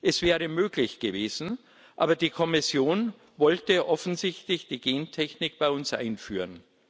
Es wäre möglich gewesen, aber die Kommission wollte offensichtlich die Gentechnik bei uns einführen.